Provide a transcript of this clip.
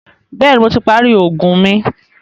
Bẹ̀ẹ́ni, Mo ti parí oògùn mi.